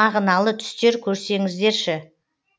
мағыналы түстер көрсеңіздерші